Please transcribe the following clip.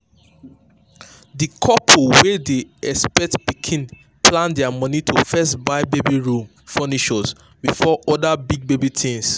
di couple wey dey expect pikin plan their money to first buy baby room furniture before other big baby things.